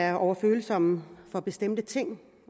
er overfølsomme for bestemte ting